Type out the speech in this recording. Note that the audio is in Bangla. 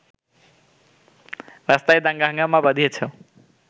রাস্তায় দাঙ্গা-হাঙ্গামা বাধিয়েছ